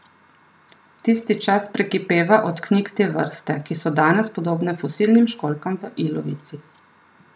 Tisti čas prekipeva od knjig te vrste, ki so danes podobne fosilnim školjkam v ilovici.